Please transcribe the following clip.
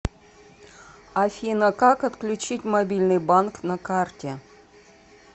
афина как отключить мобильный банк на карте